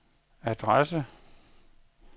adresse